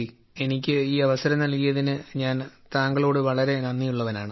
എനിക്ക് ഈ അവസരം നൽകിയതിന് ഞാൻ താങ്കളോട് വളരെ നന്ദിയുള്ളവനാണ്